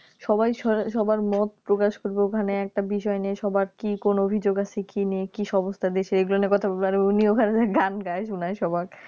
সবাই সো সবার মত প্রকাশ করবে ওখানে একটা বিষয় নিয়ে কি কোন অভিযোগ আছে কি নেই কি সমস্যা দেশে এগুলা নিয়ে কথা বলবে আর উনি ওখানে যায় গান গায় শুনায় সবারে